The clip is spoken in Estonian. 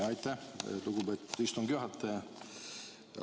Aitäh, lugupeetud istungi juhataja!